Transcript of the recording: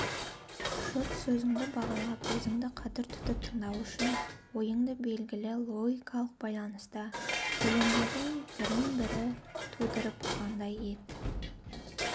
жұрт сөзіңді бағалап өзіңді қадір тұтып тыңдау үшін ойыңды белгілі логикалық байланыста сөйлемдердің бірін-бірі тудырып тұрғандай ете